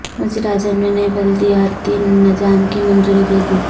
وزیر اعظم نے نئے بلدیاتی نظام کی منظوری دے دی